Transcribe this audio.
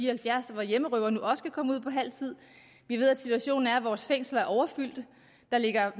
og halvfjerds at hjemmerøvere nu også kan komme ud efter halv tid vi ved at situationen er at vores fængsler er overfyldte der ligger